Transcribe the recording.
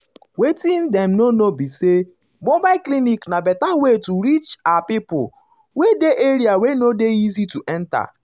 wetin dem no know be saymobile clinic na better way to reach ah pipo um wey dey area wey no easy to enta.